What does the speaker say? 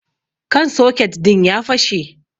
kan soket din ya fashe